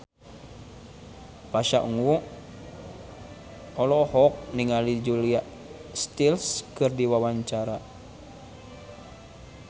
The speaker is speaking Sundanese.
Pasha Ungu olohok ningali Julia Stiles keur diwawancara